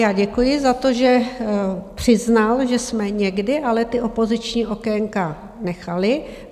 Já děkuji za to, že přiznal, že jsme někdy ale ta opoziční okénka nechali.